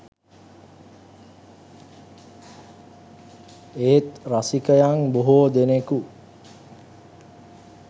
ඒත් රසිකයන් බොහෝ දෙනෙකු